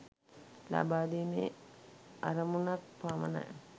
ලබාදීමේ අරමුණක් පමණයි.